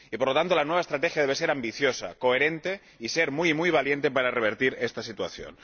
Por lo tanto, la nueva estrategia debe ser ambiciosa, coherente y muy valiente para revertir esta situación.